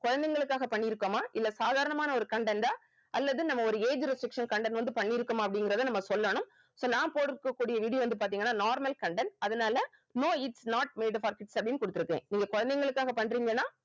குழந்தைகளுக்காக பண்ணியிருக்கோமா இல்ல சாதாரணமான ஒரு content ஆ அல்லது நம்ம ஒரு age restriction content வந்து பண்ணி இருக்கோமா அப்படிங்கறத நம்ம சொல்லணும் so நான் போட்டிருக்கக் கூடிய video வந்து பார்த்தீங்கன்னா normal content அதனால no its not made for kids அப்படின்னு குடுத்திருக்கேன் நீங்க குழந்தைகளுக்காக பண்றீங்கன்னா